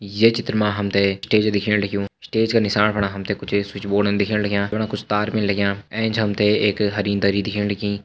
यह चित्र मा हम तैं स्टेज दिखने लग्युं का नीसाण फणा हम त स्विच बोर्ड दिखेण लग्यां कुछ तार दिखेण लग्यां एंच हम त एक हरी दरी दिखेण लगीं।